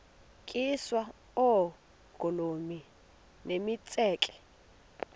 tyiswa oogolomi nemitseke